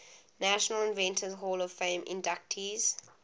national inventors hall of fame inductees